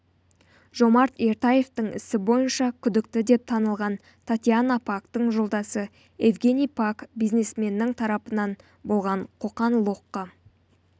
жомарт ертаевтың ісі бойынша күдікті деп танылған татьяна пактың жолдасы евгений пак бизнесменнің тарапынан болған қоқан-лоққы